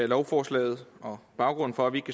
lovforslaget og baggrunden for at vi ikke